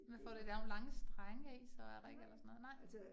Man får det da nogle lange strenge af, så er der ikke eller sådan noget, nej